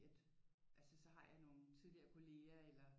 At altså så har jeg nogle tidligere kollegaer eller